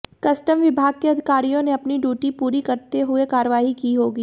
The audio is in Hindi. कस्टम विभाग के अधिकारियों ने अपनी ड्यूटी पूरी करते हुए कार्रवाई की होगी